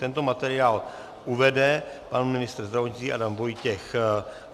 Tento materiál uvede pan ministr zdravotnictví Adam Vojtěch.